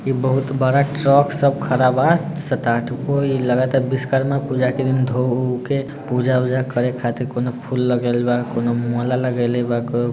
एक बहुत बड़ा ट्रक सब ख़ड़ा बा सात-आठ गो ई लगता विश्वकर्मा पूजा दिन धो उ के पूजा-उजा करे खातिर कौने फूल लगल बा कोइने माला लगइले बा को --